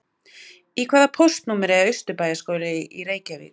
Í hvaða póstnúmeri er Austurbæjarskóli í Reykjavík?